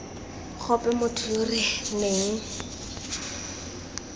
gope motho yo re neng